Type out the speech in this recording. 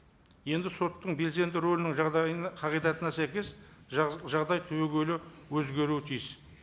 енді соттың белсенді рөлінің жағдайына қағидатына сәйкес жағдай түбегейлі өзгеруі тиіс